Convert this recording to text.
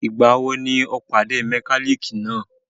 Ìgbà wo ni ọ̀ọ́ pàdé mẹkálíkì náà?